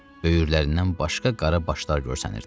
Böyürlərindən başqa qara başlar görsənirdi.